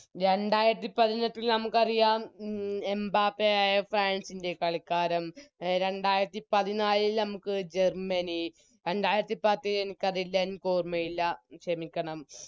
രണ്ടായിരത്തിപതിനെട്ടിൽ നമുക്കറിയാം ഉം എംബപ്പേയായ ഫ്രാൻസിൻറെ കളിക്കാരം അഹ് രണ്ടായിരത്തിപതിനാലിൽ നമുക്ക് ജർമനി രണ്ടായിരത്തിപത്തിൽ എനിക്കറിയില്ല എനിക്കോർമ്മയില്ല ക്ഷമിക്കണം